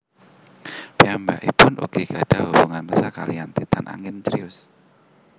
Piyambakipun ugi gadhah hubungan tresna kalihan Titan angin Crius